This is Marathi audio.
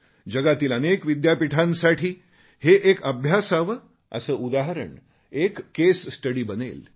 जगातील अनेक विद्यापीठांसाठी हे एक अभ्यासावे असे उदाहरण एक केसस्टडी बनेल